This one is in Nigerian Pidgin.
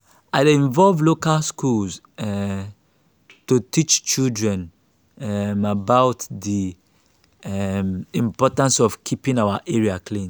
i dey involve local schools um to teach children um about di um importance of keeping our area clean.